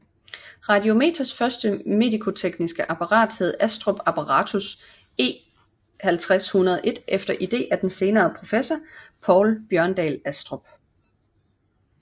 Radiometers første medicotekniske apparat hed Astrup Apparatus E50101 efter idé af den senere professor Poul Bjørndahl Astrup